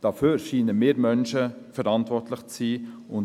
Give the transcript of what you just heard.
Dafür scheinen wir Menschen verantwortlich zu sein.